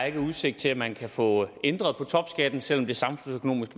er udsigt til at man kan få ændret på topskatten selv om det samfundsøkonomisk